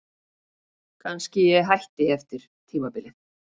Kannski hætti ég eftir tímabilið.